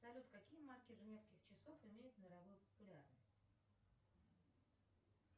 салют какие марки женевских часов имеют мировую популярность